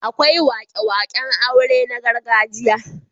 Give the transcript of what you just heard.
Akwai wake-waken aure na gargajiya.